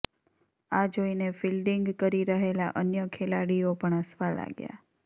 આ જોઇને ફિલ્ડિંગ કરી રહેલા અન્ય ખેલાડીઓ પણ હસવા લાગ્યા